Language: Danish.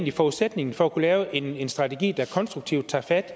er forudsætningen for at kunne lave en strategi der konstruktivt tager fat